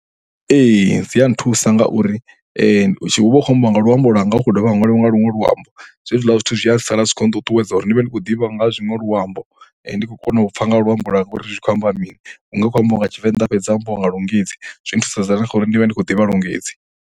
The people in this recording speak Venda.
Ee, dzi a nthusa ngauri hu vha hu khou ambiwa nga luambo lwanga hu khou dovha ha ṅwaliwa nga luṅwe luambo. Zwe zwiḽa zwithu zwi a sala zwi khou nṱuṱuwedza uri ndi vhe ndi khou ḓivha nga zwiṅwe luambo, ndi khou kona u pfha nga luambo lwanga uri zwi khou amba mini. Hu nga vha hu khou ambiwa nga Tshivenḓa ha fhedza ha ambiwa nga lungisi. Zwi thusedza na kha uri ndi vhe ndi khou ḓivha lungisi.